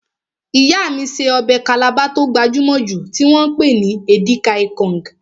Ìyá mí ṣe ọbẹ̀ Calabar tó gbajúmọ̀ jù tí wọ́n pè ní Edika-ikong